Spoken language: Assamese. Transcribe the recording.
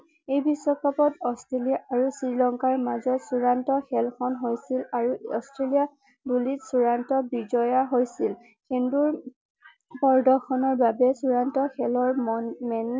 এই বিশ্বকাপত অষ্ট্ৰেলিয়া আৰু শ্ৰীলংকাৰ মাজত চূড়ান্ত খেল খন হৈছিল আৰু অষ্ট্ৰেলিয়া বুলি চূড়ান্ত বিজয়া হৈছিল কিন্তু প্ৰৰ্দশনৰ বাবে চূড়ান্ত খেলৰ মন মেন